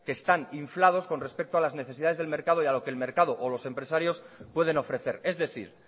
que están inflados con respecto a las necesidades del mercado y a lo que el mercado o los empresarios pueden ofrecer es decir